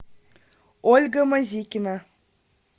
ольга мазикина